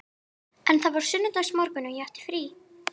En það var sunnudagsmorgunn og ég átti frí.